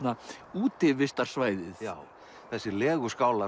útivistarsvæðið já þessir